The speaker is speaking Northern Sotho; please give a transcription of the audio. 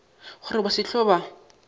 gore ba se hlwe ba